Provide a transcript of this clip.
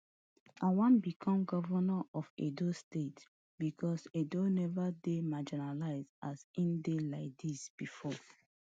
i wan become govnor of edo state becos edo never dey marginalised as im dey like dis bifor